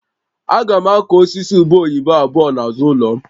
Aga m akụ osisi ube oyibo abụọ n'azụ ụlọ m